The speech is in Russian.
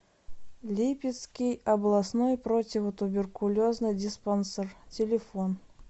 липецкий областной противотуберкулезный диспансер телефон